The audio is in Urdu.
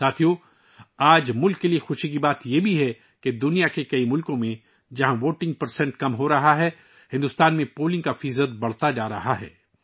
ساتھیو، آج یہ ملک کے لیے جوش و خروش کی بات ہے کہ جہاں دنیا کے کئی ممالک میں ووٹنگ فیصد کم ہو رہا ہے، وہیں بھارت میں ووٹنگ فیصد بڑھ رہا ہے